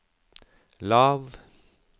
lav